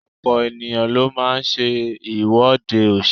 Ọ̀pọ̀ ènìyàn ló máa ń ṣe ìwọ́de òṣèlú.